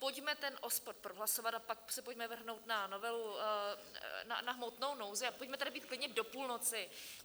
Pojďme ten OSPOD prohlasovat a pak se pojďme vrhnout na novelu, na hmotnou nouzi, a pojďme tady být klidně do půlnoci.